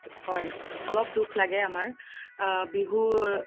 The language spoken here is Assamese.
হয় অলপ দুখ লাগে আমাৰ আ বিহুৰ